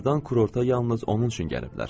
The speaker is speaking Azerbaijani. Onlardan kruorta yalnız onun üçün gəliblər.